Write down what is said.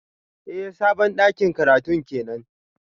Eh sabon dakin karatun kenan